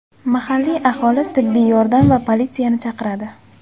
Mahalliy aholi tibbiy yordam va politsiyani chaqiradi.